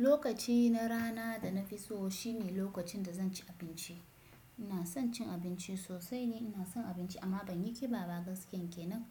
Lokaci na rana da na fi so shine lokacin da zan ci abinci. Ina son cin abinci sosai ne, ina son abinci amma ban yi ƙiba ba gaskiyan kenan.